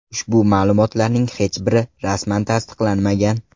Ushbu ma’lumotlarning hech biri rasman tasdiqlanmagan.